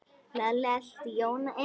Lalli elti Jóa inn.